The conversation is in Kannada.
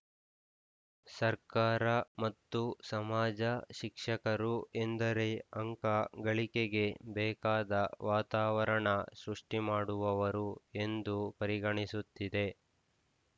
ಸರ್ಕಾರ ಮತ್ತು ಸಮಾಜ ಶಿಕ್ಷಕರು ಎಂದರೆ ಅಂಕ ಗಳಿಕೆಗೆ ಬೇಕಾದ ವಾತಾವರಣ ಸೃಷ್ಟಿಮಾಡುವವರು ಎಂದು ಪರಿಗಣಿಸುತ್ತಿದೆ